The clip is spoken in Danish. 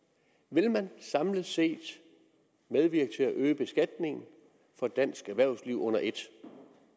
vil man samlet set medvirke til at øge beskatningen for dansk erhvervsliv under et